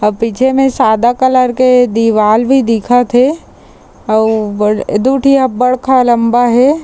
अ पीछे में सादा कलर के दीवाल भी दिखत हे अउ बाद दू ठी हा बड़का लंबा हे।